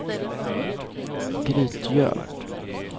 Grytgöl